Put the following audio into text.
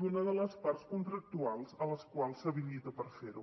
d’una de les parts contractuals a les quals s’habilita per fer ho